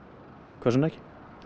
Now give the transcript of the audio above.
hvers vegna ekki